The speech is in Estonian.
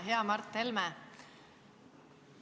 Hea Mart Helme!